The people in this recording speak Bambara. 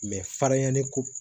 farinya ne ko